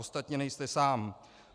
Ostatně nejste sám.